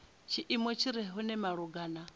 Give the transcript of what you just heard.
tshiimo tshi re hone malugana